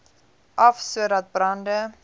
af sodat brande